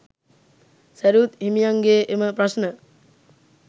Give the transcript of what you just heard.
සැරියුත් හිමියන්ගේ එම ප්‍රශ්න